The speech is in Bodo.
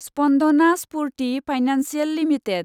Spandana Sphoorty financial limited